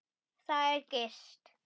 Þar er gist.